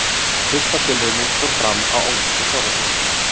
Fyrsta tilraunin fór fram á ónefndu þorrablóti.